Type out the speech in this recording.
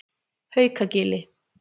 Haukagili